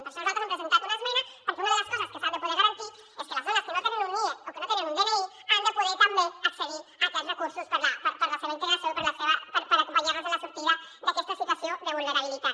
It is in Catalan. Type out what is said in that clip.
per això nosaltres hem presentat una esmena perquè una de les coses que s’han de poder garantir és que les dones que no tenen un nie o que no te·nen un dni han de poder també accedir a aquests recursos per a la seva integració i per acompanyar·les en la sortida d’aquesta situació de vulnerabilitat